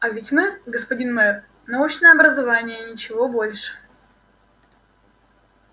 а ведь мы господин мэр научное образование и ничего больше